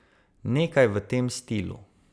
Nekaj v tem stilu.